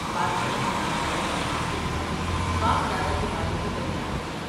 بادشاہ نے نام اور مقام پوچھا ، باپ دادا کے بارے میں دریافت کیا ۔